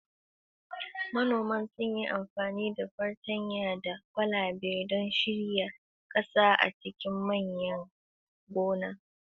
Manoman sun yi amfani da fartanya da kwalabe don shirya ƙasa a cikin manyan gonaki.